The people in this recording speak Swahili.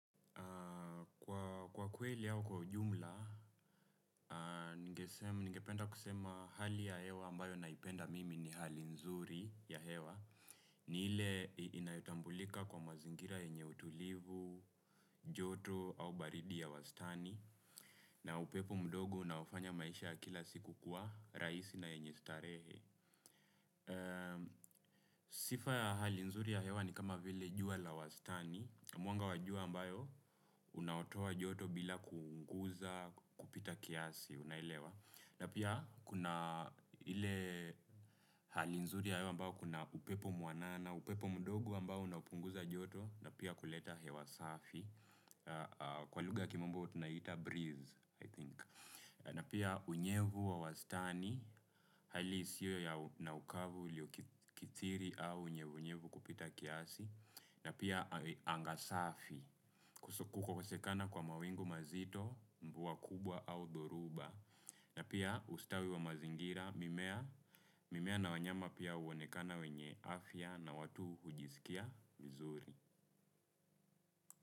Kwa kweli au kwa ujumla, ningependa kusema hali ya hewa ambayo naipenda mimi ni hali nzuri ya hewa. Ni ile inayotambulika kwa mazingira yenye utulivu, joto au baridi ya wastani. Na upepo mdogo unaofanya maisha kila siku kuwa, rahisi na yenye starehe. Sifa ya hali nzuri ya hewa ni kama vile jua la wastani. Mwanga wa jua ambayo, unaotoa joto bila kuunguza kupita kiasi, unailewa. Na pia, kuna ile hali nzuri ya hewa ambayo kuna upepo mwanana, upepo mdogo ambao unapunguza joto, na pia kuleta hewa safi. Kwa lugha ya kimombo, tunaita breeze, I think. Na pia, unyevu wa wastani, hali isiwe na ukavu ilyokithiri au unyevu unyevu kupita kiasi. Na pia anga safi kukosekana kwa mawingu mazito mvua kubwa au dhoruba na pia ustawi wa mazingira mimea na wanyama pia huonekana wenye afya na watu hujisikia vizuri.